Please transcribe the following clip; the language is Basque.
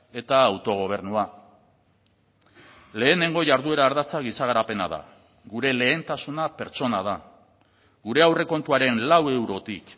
eta autogobernua lehenengo jarduera ardatza giza garapena da gure lehentasuna pertsona da gure aurrekontuaren lau eurotik